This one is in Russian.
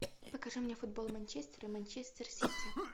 покажи мне футбол манчестер и манчестер сити